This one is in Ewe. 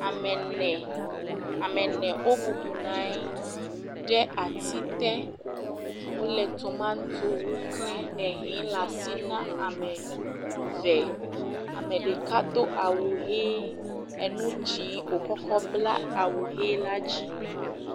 Ame ene, ame ene wobɔbɔ nɔ anyi ɖe ati te, wole tomatowo kle, ehɛ le asi na ame eve, ame ɖeka do awu ʋe, enu dzɛ̃, wòkɔ bla awu ʋe la dzi.